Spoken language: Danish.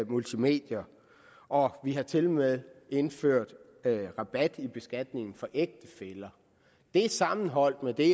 multimedier og vi har tilmed indført rabat i beskatningen for ægtefæller det sammenholdt med det